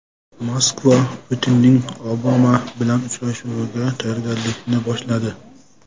Moskva Putinning Obama bilan uchrashuviga tayyorgarlikni boshladi.